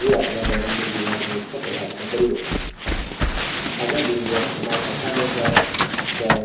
যি আপোনাৰ দৈনন্দিন জীৱনত মুখ্য় প্ৰভাৱিত কৰিব। আগৰ দিনবোৰত আমাৰ ককা-দেউতাই দৰে